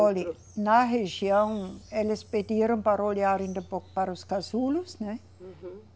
Olhe, na região, eles pediram para olhar para os casulos, né? Uhum.